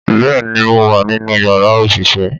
Bẹ́ẹ̀ ni, mo wà nínú yàrá òṣìṣẹ́